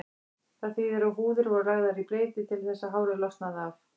Það þýðir að húðir voru lagðar í bleyti til þess að hárið losnaði af.